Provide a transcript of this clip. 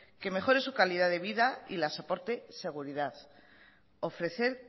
que mejore su calidad de vida y las aporte seguridad ofrecer